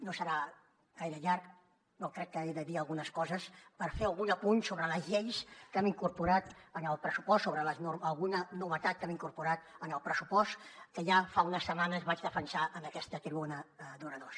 no serà gaire llarg però crec que he de dir algunes coses per fer algun apunt sobre les lleis que hem incorporat en el pressupost sobre alguna novetat que hem incorporat en el pressupost que ja fa unes setmanes vaig defensar en aquesta tribuna d’oradors